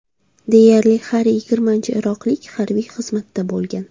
Deyarli har yigirmanchi iroqlik harbiy xizmatda bo‘lgan.